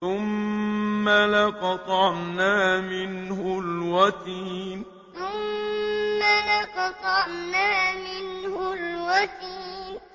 ثُمَّ لَقَطَعْنَا مِنْهُ الْوَتِينَ ثُمَّ لَقَطَعْنَا مِنْهُ الْوَتِينَ